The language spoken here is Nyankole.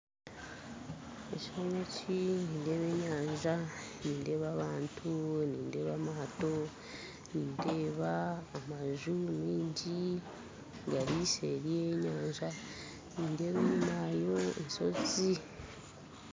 Ekishushani eki nindeeba enyanja nindeeba abantu nindeeba amatto nindeeba amaju maingi gari nseeri y'enyanja nindeeba enyuma hariyo enshozi.